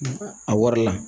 A wari la